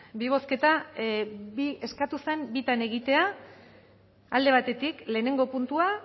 bi bozketa eskatu zen bitan egitea alde batetik lehenengo puntua